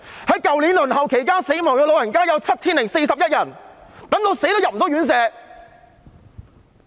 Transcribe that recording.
去年在輪候期間去世的長者有 7,041 人，等到死也入不了院舍。